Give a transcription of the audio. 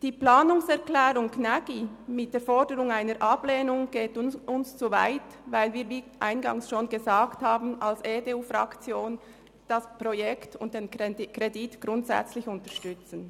Die Planungserklärung Gnägi mit der Forderung einer Ablehnung geht uns zu weit, weil wir, wie eingangs schon gesagt, als EDU-Fraktion das Projekt und den Kredit grundsätzlich unterstützen.